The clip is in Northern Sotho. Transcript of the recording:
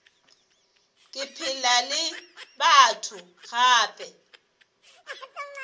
ke phela le batho gape